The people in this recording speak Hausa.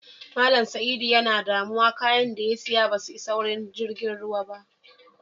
Mallama Saidu tana damuwa, káayán da ta siya basu isa wurin tashar jirigin ruwan ba.